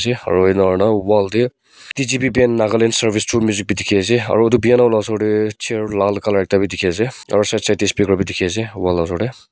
aro enahorna wall dae D G P band Nagaland service through music bhi dekhe ase aro etu piano la osor dae chair lal colour ekta bhi dekhe ase aro side side dae speaker bhi dekhe ase wall la osor dae.